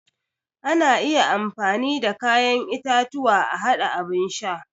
Ana iya amfani da kayan itatuwa a haɗa abun sha